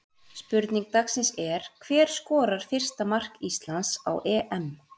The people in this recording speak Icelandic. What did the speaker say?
Spurning dagsins er: Hver skorar fyrsta mark Íslands á EM?